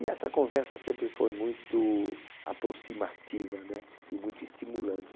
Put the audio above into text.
E essa conversa sempre foi muito aproximativa, né? E muito estimulante.